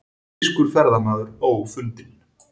Þýskur ferðamaður ófundinn